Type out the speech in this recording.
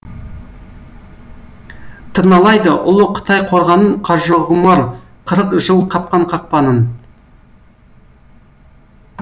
тырналайды ұлы қытай қорғанын қажығұмар қырық жыл қапқан қақпанын